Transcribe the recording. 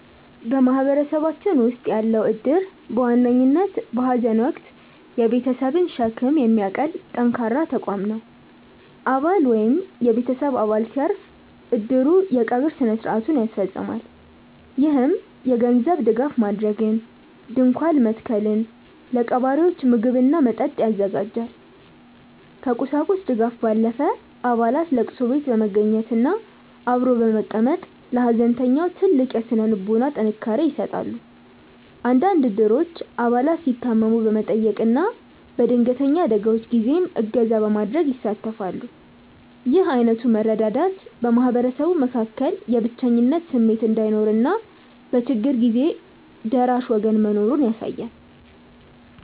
በማህበረሰባችን ውስጥ ያለው እድር በዋነኝነት በሐዘን ወቅት የቤተሰብን ሸክም የሚያቀል ጠንካራ ተቋም ነው። አባል ወይም የቤተሰብ አባል ሲያርፍ፣ እድሩ የቀብር ሥነ ሥርዓቱን ያስፈፅማል። ይህም የገንዘብ ድጋፍ ማድረግን፣ ድንኳን መትከልን፣ ለቀባሪዎች ምግብና መጠጥ ያዘጋጃል። ከቁሳቁስ ድጋፍ ባለፈ፣ አባላት ለቅሶ ቤት በመገኘትና አብሮ በመቀመጥ ለሐዘንተኛው ትልቅ የሥነ ልቦና ጥንካሬ ይሰጣሉ። አንዳንድ እድሮች አባላት ሲታመሙ በመጠየቅና በድንገተኛ አደጋዎች ጊዜም እገዛ በማድረግ ይሳተፋሉ። ይህ ዓይነቱ መረዳዳት በማህበረሰቡ መካከል የብቸኝነት ስሜት እንዳይኖርና በችግር ጊዜ ደራሽ ወገን መኖሩን ያሳያል።